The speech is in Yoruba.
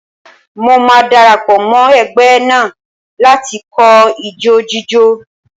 Mo máa dara pọ̀ mọ́ ẹgbẹ́ náà láti kọ́ ijó jíjó.